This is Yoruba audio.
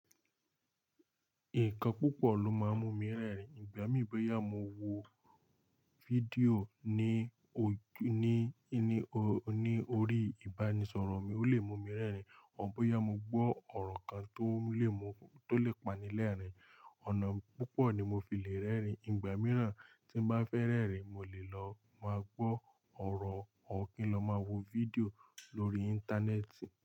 Nǹkan púpọ̀ ló máa ń mú mi rẹ́rìn, ìgbà mìí bóyá mo wo fídíò ní ojú, ní, ní, ní orí ìbánisọ̀rọ̀ mi ó lè mú mi rẹ́rìn, òr bóyá mo gbọ́ ọ̀rọ̀ kan tó lè mú, tó lè pani lẹ́rìn, ọ̀nà púpọ̀ ni mo fi le rẹ́rìn, ìgbà mìíràn tí n bá fẹ́ rẹ́rìn mo lè lọ máa gbọ́ ọ̀rọ̀, ọ̀r kín lọ máa wo fídíò lórí Íńtánẹ́ẹ̀tì.